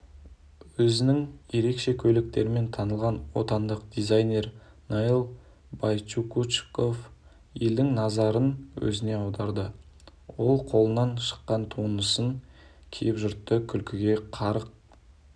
өзінің ерекше көйлектерімен танылған отандық дизайнер наиль байкучуков елдің назарын өзіне аударды ол өз қолынан шыққан туындысын киіп жұртты күлкіге қарық